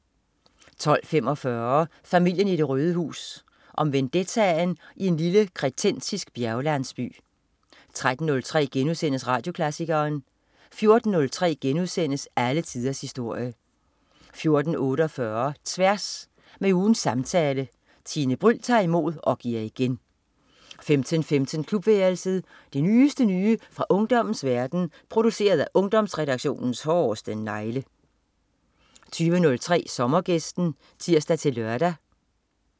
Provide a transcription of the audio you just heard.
12.45 Familien i det røde hus. Om vendetta i en lille Kretensisk Bjerglandsby 13.03 Radioklassikeren* 14.03 Alle tiders historie* 14.48 Tværs. Med ugens samtale. Tine Bryld tager imod og giver igen 15.15 Klubværelset. Det nyeste nye fra ungdommens verden, produceret af Ungdomsredaktionens hårdeste negle 20.03 Sommergæsten (tirs-lør)